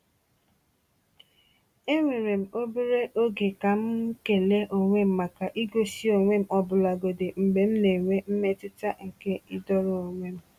Eweere m obere oge ka m kele onwe m maka igosi onwe m ọbụlagodi mgbe m na-enwe mmetụta nke ịdọrọ onwe m.